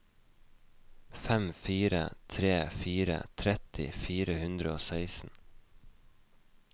fem fire tre fire tretti fire hundre og seksten